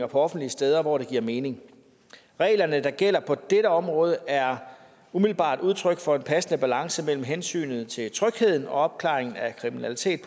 på offentlige steder hvor det giver mening reglerne der gælder på dette område er umiddelbart udtryk for en passende balance mellem hensynet til trygheden og opklaringen af kriminalitet